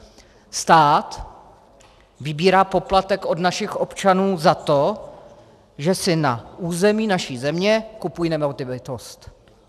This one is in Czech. Stát vybírá poplatek od našich občanů za to, že si na území naší země kupují nemovitost.